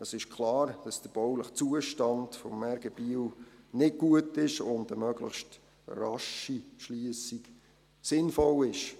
Es ist klar, dass der bauliche Zustand des RG Biel nicht gut und eine möglichst rasche Schliessung sinnvoll ist.